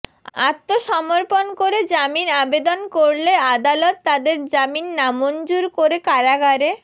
আত্মসমর্পণ করে জামিন আবেদন করলে আদালত তাদের জামিন নামঞ্জুর করে কারাগারে